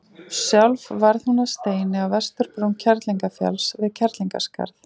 Sjálf varð hún að steini á vesturbrún Kerlingarfjalls, við Kerlingarskarð.